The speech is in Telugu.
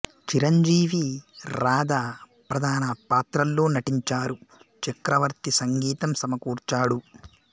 చిరంజీవి రాధ ప్రధాన పాత్రల్లో నటించారు చక్రవర్తి సంగీతం సమకూర్చాడు